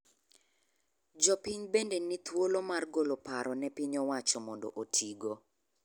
Jo piny bende ni thuolo mar golo paro ne piny owacho mondo otigo.